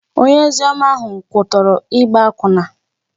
Onye ozioma ahụ kwutọrọ ịgba akwụna